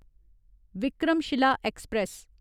Vikramshila express